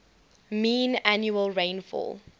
mean annual rainfall